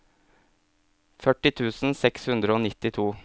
førti tusen seks hundre og nittito